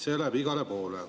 See läheb igale poole.